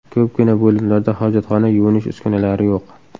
Ko‘pgina bo‘limlarda hojatxona, yuvinish uskunalari yo‘q.